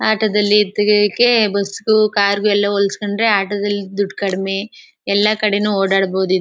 ಆಟೋದಲ್ಲಿ ಇದ್ದಿದ್ದಕ್ಕೆ ಬುಸ್ಗೂ ಕಾರಿಗೂ ಎಲ್ಲ ಹೊಲ್ಸ್ಕೊಂಡ್ರೆ ಆಟೋದಲ್ಲಿ ದುಡ್ ಕಡಿಮೆ ಎಲ್ಲ ಕಡೆನೂ ಓಡಾಡಬೊದು ಇದ್